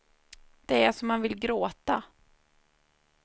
Det är så man vill gråta.